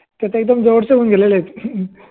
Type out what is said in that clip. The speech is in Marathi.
त्याचे एकदम जवडचे होउन गेलेले आहेत